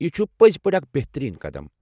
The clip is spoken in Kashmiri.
یہِ چھُ پٔزۍ پٲٹھۍ اکھ بہترین قدم۔